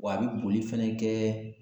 Wa a bi boli fɛnɛ kɛ